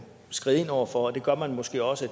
skride ind over for og det gør man måske også